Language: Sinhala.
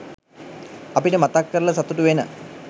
අපිට මතක් කරල සතුටු වෙන